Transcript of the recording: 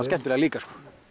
skemmtilegar líka